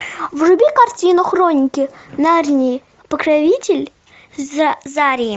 вруби картину хроники нарнии покоритель зари